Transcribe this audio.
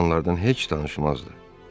Qadınlardan heç danışmazdı.